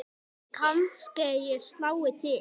Kannske ég slái til.